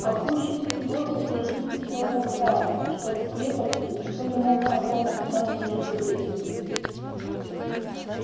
а пуще всего содержите все это в тайне чтоб в крепости никто не мог о том узнать преждевременно